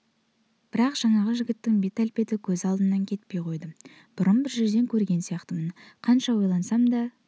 бірақ жаңағы жігіттің бет-әлпеті көз алдымнан кетпей қойды бұрын бір жерден көрген сияқтымын қанша ойлансам да